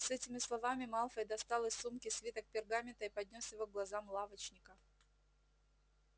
с этими словами малфой достал из сумки свиток пергамента и поднёс его к глазам лавочника